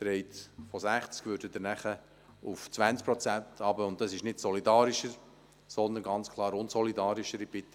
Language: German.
Dies würde einen Rückgang von 60 auf 20 Prozent bedeuten, was nicht solidarischer, sondern ganz klar unsolidarischer ist.